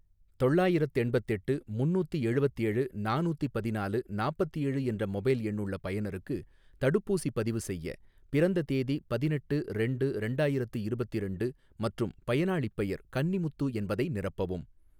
தொள்ளாயிரத்தெண்பத்தெட்டு முன்னூத்தி எழுவத்தேழு நானூத்தி பதினாலு நாப்பத்தேழு என்ற மொபைல் எண்ணுள்ள பயனருக்கு தடுப்பூசிப் பதிவு செய்ய, பிறந்த தேதி பதினெட்டு ரெண்டு ரெண்டாயிரத்து இருபத்திரண்டு மற்றும் பயனாளிப் பெயர் கன்னிமுத்து என்பதை நிரப்பவும்.